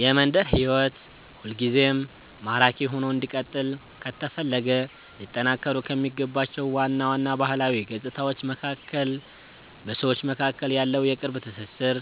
የመንደር ሕይወት ሁልጊዜም ማራኪ ሆኖ እንዲቀጥል ከተፈለገ ሊጠናከሩ ከሚገባቸው ዋና ዋና ባህላዊ ገጽታዎች መካከል በሰዎች መካከል ያለው የቅርብ ትሥሥር፣